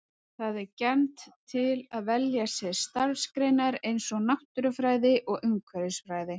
Það er gjarnt til að velja sér starfsgreinar eins og náttúrufræði og umhverfisfræði.